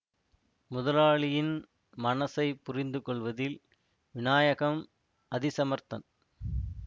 முதலாளியின் மனசைப் புரிந்து கொள்வதில் வினாயகம் அதி சமர்த்தன்